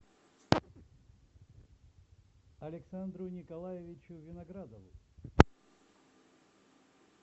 александру николаевичу виноградову